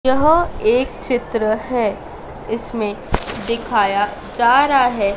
यह एक चित्र है इसमें दिखाया जा रहा है।